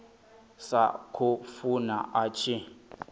sa khou funa a tshi